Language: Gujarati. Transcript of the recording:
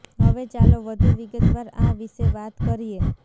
હવે ચાલો વધુ વિગતવાર આ વિશે વાત કરીએ